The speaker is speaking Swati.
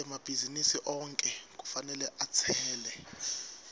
emabhizinisi onkhe kufanele atsele